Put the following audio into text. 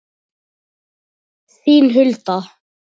Þín, Hulda.